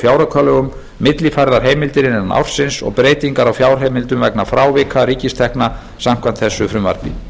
fjáraukalögum millifærðar heimildir innan ársins og breytingar á fjárheimildum vegna frávika ríkistekna samkvæmt þessu frumvarpi